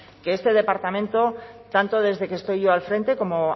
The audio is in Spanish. que este departamento tanto desde que estoy yo al frente como